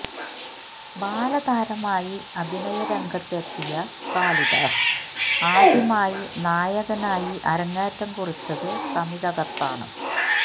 ബാലതാരമായി അഭിനയ രംഗത്ത് എത്തിയ കാളിദാസ് ആദ്യമായി നായകനായി അരങ്ങേറ്റം കുറിച്ചത് തമിഴകത്താണ്